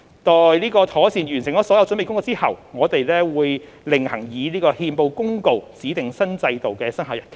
待妥善完成所有準備工作後，我們會另行以憲報公告指定新制度的生效日期。